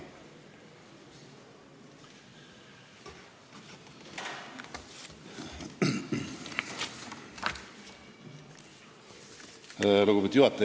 Lugupeetud juhataja!